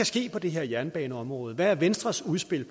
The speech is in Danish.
ske på det her jernbaneområde hvad er venstres udspil